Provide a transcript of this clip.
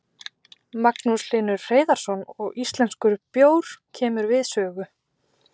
Magnús Hlynur Hreiðarsson: Og íslenskur bjór kemur við sögu?